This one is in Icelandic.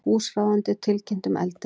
Húsráðendur tilkynntu um eldinn